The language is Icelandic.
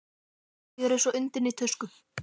Mér líður eins og undinni tusku.